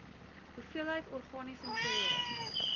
hoeveelheid organiese materiaal